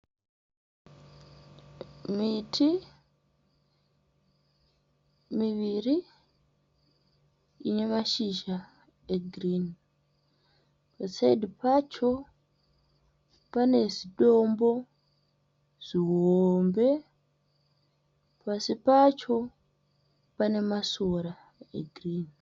Miti miviri ine mashizha egirini, pasaidhi pacho pane zidombo zihombe, pasi pacho pane masora egirini.